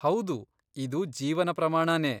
ಹೌದು, ಇದು ಜೀವನ ಪ್ರಮಾಣನೇ.